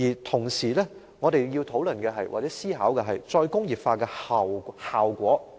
同時，我們要討論或思考"再工業化"的最終效果。